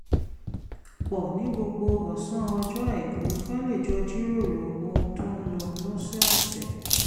pọ̀ ní gbogbo ọ̀sán ọjọ́ àìkú ká lè jọ jíròrò ohun tó ń lọ lọ́sọ̀ọ̀sẹ̀